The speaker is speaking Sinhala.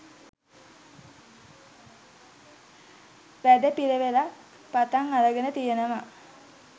වැඩපිළිවෙලක් පටන් අරගෙන තියෙනවා